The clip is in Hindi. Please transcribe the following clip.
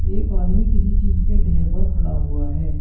एक आदमी किसी चीज के ढेर पर खड़ा हुआ है।